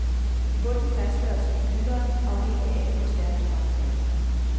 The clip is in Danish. I bunden fastgøres et blylod, afhængig af hvor stærk strømmen er.